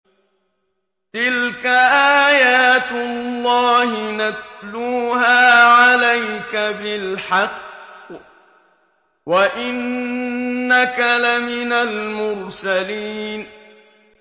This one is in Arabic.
تِلْكَ آيَاتُ اللَّهِ نَتْلُوهَا عَلَيْكَ بِالْحَقِّ ۚ وَإِنَّكَ لَمِنَ الْمُرْسَلِينَ